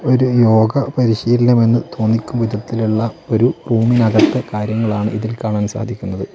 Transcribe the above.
ഒരു യോഗ പരിശീലനം എന്ന് തോന്നിക്കും വിധത്തിലുള്ള ഒരു റൂമിന്നകത്തെ കാര്യങ്ങളാണ് ഇതിൽ കാണാൻ സാധിക്കുന്നത്.